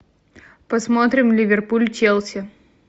посмотрим ливерпуль челси